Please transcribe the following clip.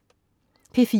P4: